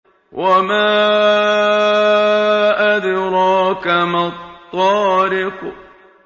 وَمَا أَدْرَاكَ مَا الطَّارِقُ